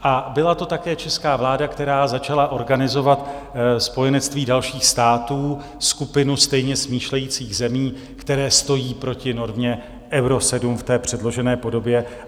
A byla to také česká vláda, která začala organizovat spojenectví dalších států, skupinu stejně smýšlejících zemí, které stoji proti normě Euro 7 v té předložené podobě.